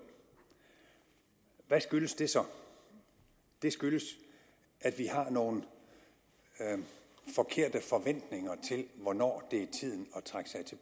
hvad skyldes det så det skyldes at vi har nogle forkerte forventninger til hvornår det er tiden